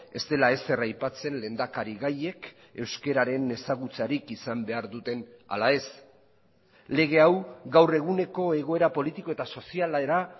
ez dela ezer aipatzen lehendakari gaiek euskararen ezagutzarik izan behar duten ala ez lege hau gaur eguneko egoera politiko eta sozialera